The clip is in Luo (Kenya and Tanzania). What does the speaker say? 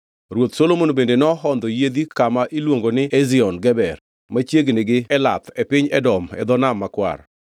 Ruoth Solomon bende nohondho yiedhi kama iluongo ni Ezion Geber machiegni gi Elath e piny Edom e dho Nam Makwar.